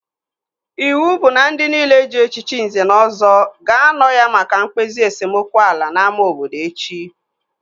Iwu bụ na ndị nile ji echichi Nze na Ọzọ ga-anọ ya maka mkpezi esemokwu ala n'ámá obodo echi!